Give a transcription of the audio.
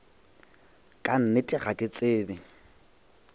ka nnete ga ke tsebe